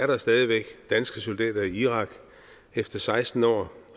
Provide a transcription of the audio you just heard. der stadig væk er danske soldater i irak efter seksten år